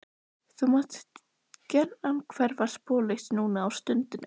Þú mátt gjarnan hverfa sporlaust núna á stundinni.